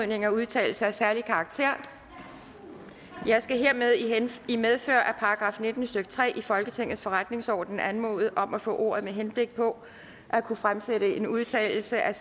med en udtalelse af særlig karakter jeg skal hermed i medfør af § nitten stykke tre i folketingets forretningsorden anmode om at få ordet med henblik på at kunne fremsætte en udtalelse af